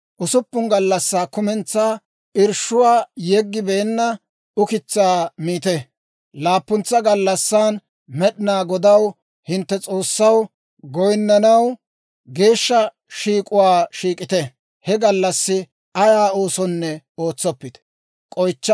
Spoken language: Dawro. Usuppun gallassaa kumentsaa irshshuwaa yeggibeenna ukitsaa miite; laappuntsa gallassan Med'inaa Godaw, hintte S'oossaw, goyinnanaw geeshsha shiik'uwaa shiik'ite; he gallassi ayaa oosonne ootsoppite.